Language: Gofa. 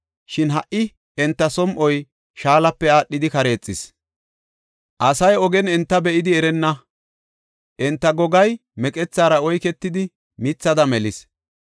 Shin ha77i enta som7oy shaalape aadhidi kareexis; asasi ogen enta be7idi erenna; enta gogay meqethaara oyketidi mithada melis.